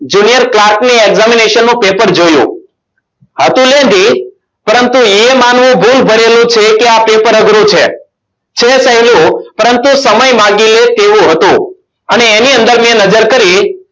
Junior clark ની examination નું paper જોયું હતું lendhy પરંતુ એ માનવું ભૂલ ભરેલું છે કે આ paper અઘરું છે છે. સહેલું પરંતુ સમય માંગી લે તેવું હતું. અને એની અંદર મેં નજર કરી.